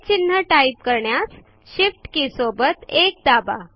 चिन्ह टाईपकरण्यास shift key सोबत 1 दाबा